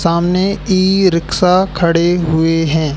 सामने e rickshaw खड़े हुए है।